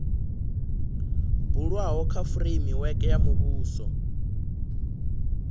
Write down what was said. bulwaho kha fureimiweke ya muvhuso